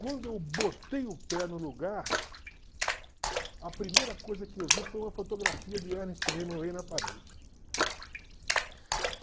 Quando eu botei o pé no lugar, a primeira coisa que eu vi foi uma fotografia de Ernest Hemingway na parede.